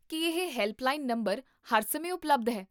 ਕੀ ਇਹ helpline number ਹਰ ਸਮੇਂ ਉਪਲਬਧ ਹੈ?